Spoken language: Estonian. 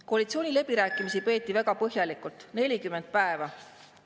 Koalitsiooniläbirääkimisi peeti väga põhjalikult, 40 päeva.